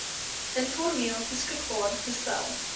informeel beskikbaar gestel